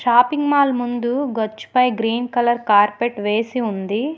Shopping mall ముందు గచ్చు పై గ్రీన్ కలర్ కార్పెట్ వేసి ఉంది.